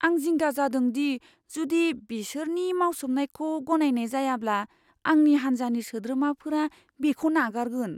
आं जिंगा जादों दि जुदि बिसोरनि मावसोमनायखौ गनायनाय जायाब्ला आंनि हान्जानि सोद्रोमाफोरा बेखौ नागारगोन।